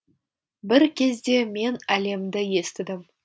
бір кезде мен әлемді естідім